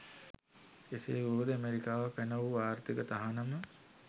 එසේ වුවද ඇමෙරිකාව පැන වූ ආර්ථික තහනම